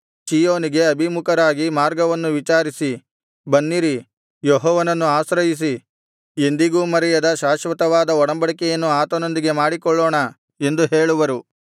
ಚೀಯೋನಿಗೆ ಅಭಿಮುಖರಾಗಿ ಮಾರ್ಗವನ್ನು ವಿಚಾರಿಸಿ ಬನ್ನಿರಿ ಯೆಹೋವನನ್ನು ಆಶ್ರಯಿಸಿ ಎಂದಿಗೂ ಮರೆಯದ ಶಾಶ್ವತವಾದ ಒಡಂಬಡಿಕೆಯನ್ನು ಆತನೊಂದಿಗೆ ಮಾಡಿಕೊಳ್ಳೋಣ ಎಂದು ಹೇಳುವರು